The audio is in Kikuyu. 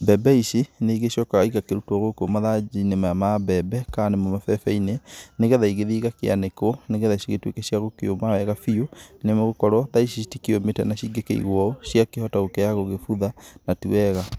Mbembe ici nĩ igĩcokaga iga kĩrutwo gũkũ mathanjĩ-inĩ ma mbembe kana nĩ mo mabebe-inĩ nĩgetha igĩthi igakĩanĩkwo nĩgetha cigĩtuĩke cia kũũma wega nĩ gũkorwo ta ici citikĩũmĩte na cingĩ gĩkĩigũo ũũ cia kĩhota gũkorwo igĩgĩbutha na ti wega.